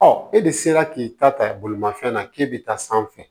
e de sera k'i ta ta bolimafɛn na k'e bɛ taa sanfɛ